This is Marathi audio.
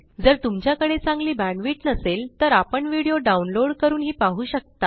जर तुमच्याकडे चांगली बॅण्डविड्थ नसेल तर आपण व्हिडिओ डाउनलोड करूनही पाहू शकता